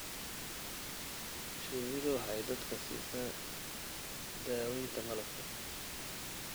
Shinnidu waxay dadka siisaa daaweynta malabka.